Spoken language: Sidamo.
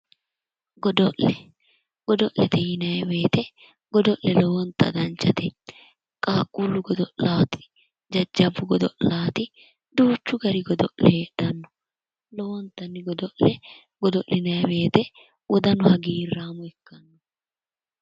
Godo'le gode'lete yinayi woyite godo'le lowonta danchate qaaqquullu godo'laati jajjabbu godo'laati duuchu gari godo'le heedhanno lowontanni godo'le godo'linayi woyite wodanu hagiirraamo ikkanno